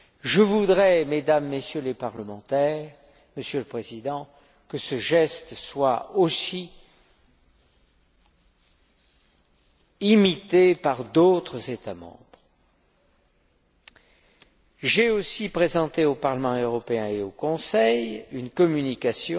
Je voudrais, Mesdames et Messieurs les parlementaires, Monsieur le Président, que ce geste soit aussi imité par d'autres États membres. Le 2 septembre dernier, j'ai aussi présenté au Parlement européen et au Conseil une communication